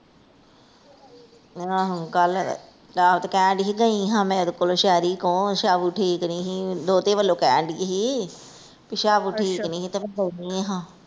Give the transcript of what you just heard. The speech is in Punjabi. ਆਹੋ ਕੱਲ, ਆਹੋ ਤੇ ਕਹਿਣ ਦਈ ਸੀ ਗਈਂ ਹਾਂ ਮੈਂ ਇਹਦੇ ਕੋਲ ਸ਼ੈਰੀ ਕੋਲ ਸ਼ਾਵਉ ਠੀਕ ਨੀ ਹੀ ਦੋਤੇ ਵੱਲੋਂ ਕਹਿਣ ਦਈ ਸੀ ਭੀ ਸ਼ਾਵਉ ਠੀਕ ਨੀ ਤੇ ਕਹਿੰਦੀ ਹਾ।